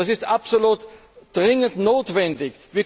Das ist absolut dringend notwendig.